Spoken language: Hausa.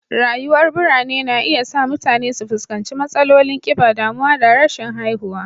Rayuwar birane na iya sa mutane su fuskanci matsalolin kiba, damuwa da rashin haihuwa